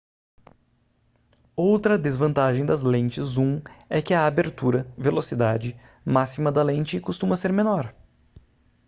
outra desvantagem das lentes zoom é que a abertura velocidade máxima da lente costuma ser menor